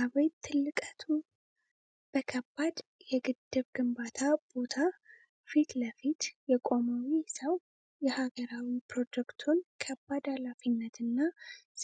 አቤት ትልቀቱ! በከባድ የግድብ ግንባታ ቦታ ፊት ለፊት የቆመው ይህ ሰው፣ የሀገራዊ ፕሮጀክቱን ከባድ ኃላፊነትና